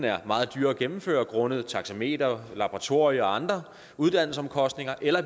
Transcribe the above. er meget dyre at gennemføre grundet taxameterordningen laboratorier og andre uddannelsesomkostninger eller